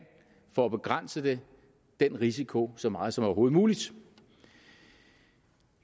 for at begrænse den risiko så meget som overhovedet muligt